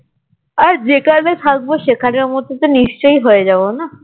আর যেখানে থাকবো সেখানের মত তো নিশ্চই হয়ে যাবো না?